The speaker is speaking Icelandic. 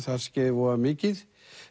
þar skeði voða mikið